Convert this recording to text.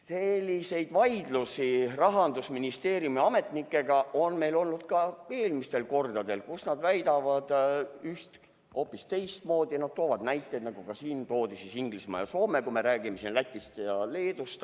" Selliseid vaidlusi Rahandusministeeriumi ametnikega on meil olnud ka eelmistel kordadel, kui nad väitsid hoopis teistmoodi, nad tõid näiteks, nagu ka siin toodi, Inglismaa ja Soome, kui meie räägime Lätist ja Leedust.